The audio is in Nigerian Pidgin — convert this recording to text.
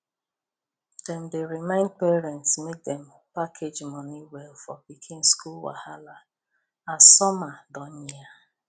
dem dey remind parents make dem package money well for pikin school wahala as summer dey near